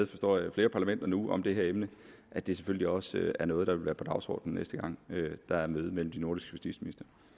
forstår jeg i flere parlamenter nu om det her emne at det selvfølgelig også er noget der vil være på dagsordenen næste gang der er møde mellem de nordiske